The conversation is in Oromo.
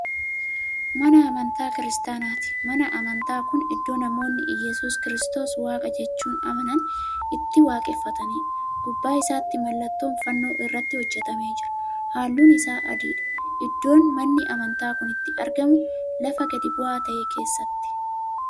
Mana amantaa kiristaanaati. manni amantaa Kuni iddoo namoonni iyyesuus kristoos waaqa jechuun amanan itti waaqeffataniidha. gubbaa isaattii mallattoon fannoo irratti hojjatamee jira. halluun Isaa adiidha. iddoon manni amantaa Kuni itti argamu lafa gadi bu'aa ta'e keessatti.